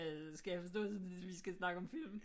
Skal jeg forstå det sådan at vi skal snakke om film